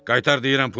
Qaytar deyirəm pulu!